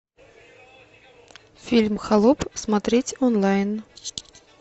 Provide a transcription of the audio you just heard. фильм холоп смотреть онлайн